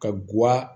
Ka guwa